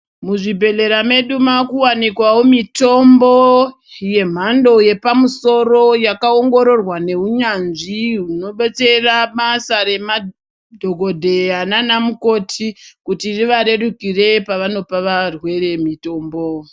Muzvibhedhlera medu makuwanikwawo mitombo yemhando yepamusoro yakaongororwa neunyanzvi hunobetsera basa ramadhogodheya nanamukoti kuti rivarerukire pavanopa varwere mitombo.